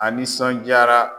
A nisɔnjaara.